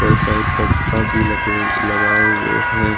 और शायद पंखा भी लगे हु लगाए हुए हैं ।